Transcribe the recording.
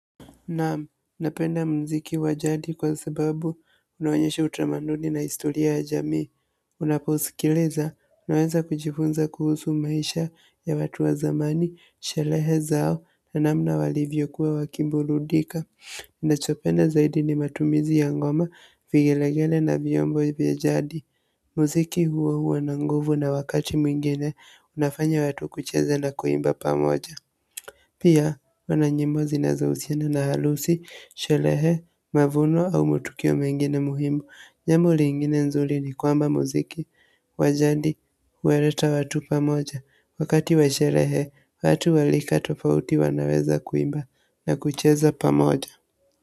Naam, unapenda mziki wa jadi kwa sababu unaonyesha utamaduni na historia ya jamii. Unaposikiliza, unaweza kujifunza kuhusu maisha ya watu wa zamani, sherehe zao, na namna walivyo kuwa waki burudika. Nachopenda zaida ni matumizi ya ngoma vigelegele na vyombo vya jadi mziki huo huwa na nguvu na wakati mwingine, unafanya watu kucheza na kuimba pamoja. Pia wana nyimbo zinazohusiana na harusi, sherehe, mavuno au matukio mengine muhimu, jambo lingine nzuri ni kwamba mziki, wa jadi huwaleta watu pamoja, wakati wa sherehe, watu wa rika tofauti wanaweza kuimba na kucheza pamoja.